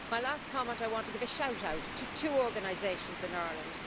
My last comment I want to give a shout out to two organisations in Ireland.